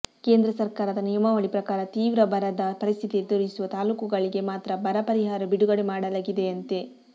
ಕೇಂದ್ರ ಸರ್ಕಾರದ ನಿಯಮಾವಳಿ ಪ್ರಕಾರ ತೀವ್ರ ಬರದ ಪರಿಸ್ಥಿತಿ ಎದುರಿಸುವ ತಾಲೂಕುಗಳಿಗೆ ಮಾತ್ರ ಬರ ಪರಿಹಾರ ಬಿಡುಗಡೆ ಮಾಡಲಾಗಿದೆಯಂತೆ